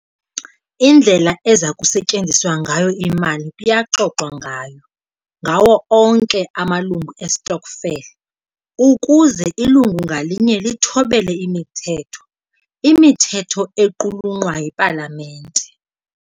Indlela eza kusetyenziswa ngayo imali kuyaxoxwa ngayo ngawo onke amalungu estokvel ukuze ilungu ngalinye lithobele imithetho, imithetho equlunqwa yipalamente.